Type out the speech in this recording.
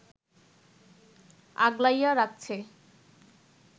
আগলাইয়া রাখছে